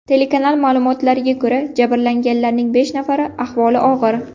Telekanal ma’lumotlariga ko‘ra, jabrlanganlarning besh nafarini ahvoli og‘ir.